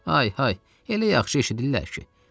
Ay, hay, elə yaxşı eşidirlər ki!